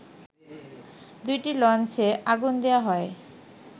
দুটি লঞ্চে আগুন দেয়া হয়